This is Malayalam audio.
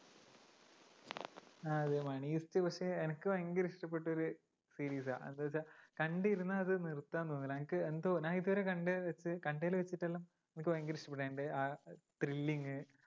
ആ അത് money heist പക്ഷെ എനിക്ക് ഭയങ്കര ഇഷ്ടപ്പെട്ട ഒരു series ആ എന്താന്നുവച്ചാ കണ്ടിരുന്നാ അത് നിർത്താൻ തോന്നൂല്ല. എനിക്ക് എന്തോ ഞാൻ ഇതുവരെകണ്ടേല് വച്ച് കണ്ടേല് വച്ചിട്ടെല്ലാം എനിക്ക് ഭയങ്കര ഇഷ്ടപ്പെട്ടു. അതിൻ്റെ ആ thrilling ഉ